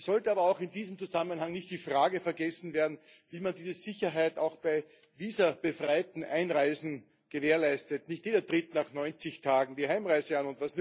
Es sollte aber auch in diesem Zusammenhang nicht die Frage vergessen werden, wie man diese Sicherheit auch bei visabefreiten Einreisen gewährleistet. Nicht jeder tritt nach 90 Tagen die Heimreise an.